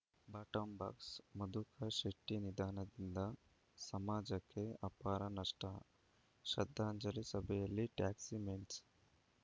bottom box Madhukar ಶೆಟ್ಟಿನಿಧನದಿಂದ ಸಮಾಜಕ್ಕೆ ಅಪಾರ ನಷ್ಟ ಶ್ರದ್ಧಾಂಜಲಿ ಸಭೆಯಲ್ಲಿ ಟ್ಯಾಕ್ಸಿಮೆನ್ಸ್‌